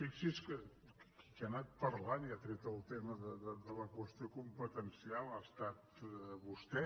fixi’s que qui ha anat parlant i ha tret el tema de la qüestió competencial ha estat vostè